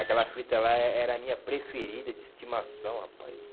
Aquela fita lá eh era a minha preferida de estimação, rapaz.